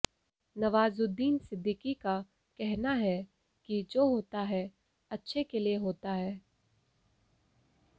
नवाजुद्दीन सिद्दीकी का कहना है कि जो होता है अच्छे के लिए होता है